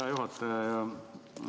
Hea juhataja!